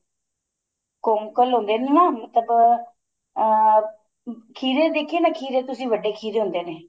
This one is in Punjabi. ਕੋੰਕਲ ਹੁੰਦੇ ਨੇ ਨਾ ਮਤਲਬ ਅਹ ਖੀਰੇ ਦੇਖੇ ਏ ਨਾ ਖੀਰੇ ਤੁਸੀਂ ਵੱਡੇ ਖੀਰੇ ਹੁੰਦੇ ਨੇ